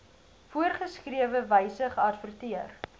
voorgeskrewe wyse geadverteer